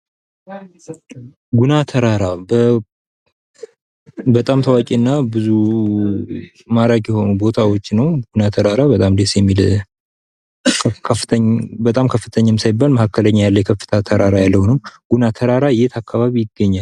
ጉና ተራራ በጣም ታዋቂና ብዙ ማራኪ የሆኑ ቦታዎች ነው። ጉና ተራራ በጣም ደስ የሚል በጣም ከፍተኛም ሳይባል መካከለኛ የሆነ ከፍታ ያለው ተራራ ነው። ጉና ተራራ የት አካባቢ ይገኛል?